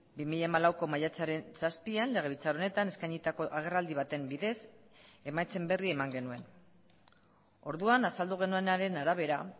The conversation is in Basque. bi mila hamalauko maiatzaren zazpian legebiltzar honetan eskainitako agerraldi baten bidez emaitzen berri eman genuen orduan azaldu genuenaren arabera